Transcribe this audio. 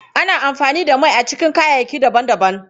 Ana amfani da mai a cikin kayayyaki daban-daban.